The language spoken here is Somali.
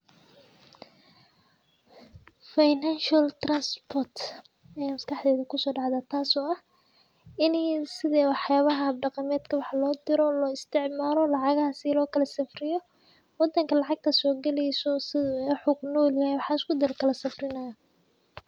Financial transport aya maskaxdey kuso dhacda taas oo ah ini wax yabaha dhaqameedka wax loo diro loo isticmaalo lacagaha si loo kala safriyo ,wadanka lacagta soo galeyso iyo wuxuu kunol yahay waxas kudi lakala safrinayo